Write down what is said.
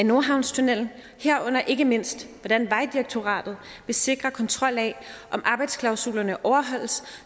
nordhavnstunnellen herunder ikke mindst hvordan vejdirektoratet vil sikre kontrol af om arbejdsklausulerne overholdes